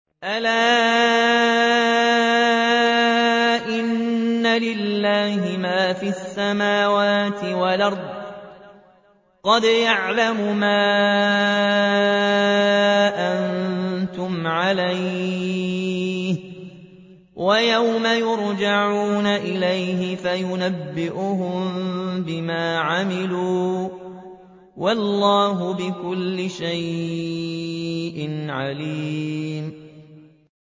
أَلَا إِنَّ لِلَّهِ مَا فِي السَّمَاوَاتِ وَالْأَرْضِ ۖ قَدْ يَعْلَمُ مَا أَنتُمْ عَلَيْهِ وَيَوْمَ يُرْجَعُونَ إِلَيْهِ فَيُنَبِّئُهُم بِمَا عَمِلُوا ۗ وَاللَّهُ بِكُلِّ شَيْءٍ عَلِيمٌ